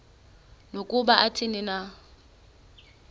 nokuba athini na